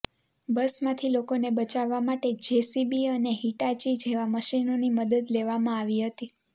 બસમાંથી લોકોને બચાવવા માટે જેસીબી અને હિટાચી જેવાં મશીનોની મદદ લેવામાં આવી હતી